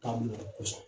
K'a minɛ kosɔn